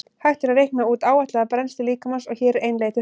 Hægt er að reikna út áætlaða brennslu líkamans og hér er ein leið til þess.